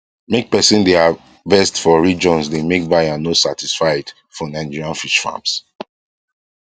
make person dey harvest for regions dey make buyer no satisfied for nigerian fish farms